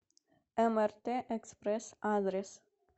мрт экспресс адрес